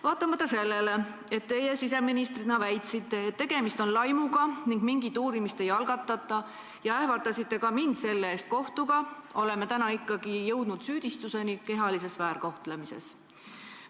Vaatamata sellele, et teie siseministrina väitsite, et tegemist on laimuga ning mingit uurimist ei algatata, ja ähvardasite ka mind selle eest kohtuga, on ikkagi jõutud süüdistuseni kehalises väärkohtlemises.